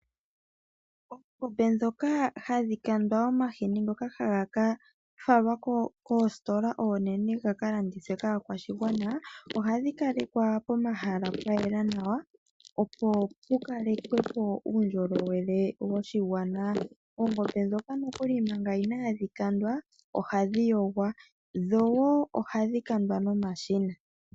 Oongombe ndhoka hadhi kandwa omahini ngoka haga ka falwa koositola oonene ga kalandithwe kaakwashigwana , ohadhi kalekwa pomahala pwa yela nawa, opo pukalekwepo uundjolowele woshigwana. Oongombe ndhoka nokuli manga inaadhi kandwa, ohadhi yogwa , dho woo ohadhi kandwa nomashina.